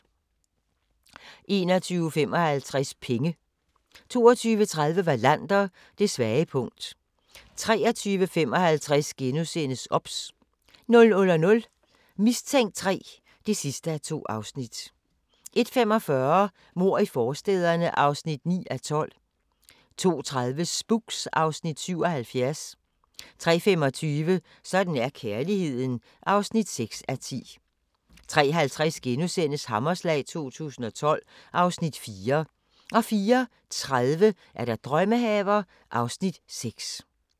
21:55: Penge 22:30: Wallander: Det svage punkt 23:55: OBS * 00:00: Mistænkt 3 (2:2) 01:45: Mord i forstæderne (9:12) 02:30: Spooks (Afs. 77) 03:25: Sådan er kærligheden (6:10) 03:50: Hammerslag 2012 (Afs. 4)* 04:30: Drømmehaver (Afs. 6)